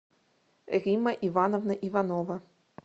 римма ивановна иванова